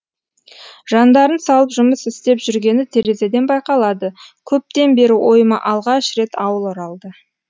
жандарын салып жұмыс істеп жүргені терезеден байқалады көптен бері ойыма алғаш рет ауыл оралды